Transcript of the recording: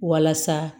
Walasa